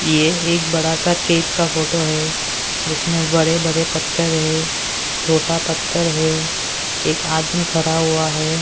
ये एक बड़ा सा केप का फोटो है जिसमें बड़े बड़े पत्थर है छोटा पत्थर है एक आदमी खड़ा हुआ है।